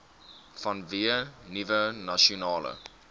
vanweë nuwe nasionale